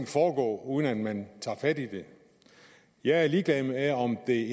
foregå uden at man tager fat i dem jeg er ligeglad med om det